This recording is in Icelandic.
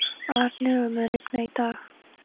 Arnleifur, mun rigna í dag?